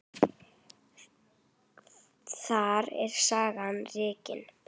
Þar er sagan rakin.